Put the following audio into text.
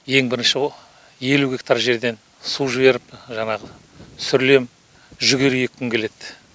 ең бірінші ғо елу гектар жерден су жіберіп жаңағы сүрлем жүгері еккім келеді